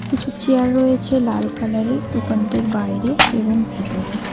কিছু চেয়ার রয়েছে লাল কালার -এর দোকানটির বাইরে এবং ভেতরেও।